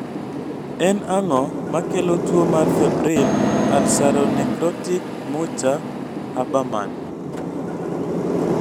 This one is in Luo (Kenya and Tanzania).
en ang'o makelo tuwo mar febrile ulceronecrotic Mucha Habermann?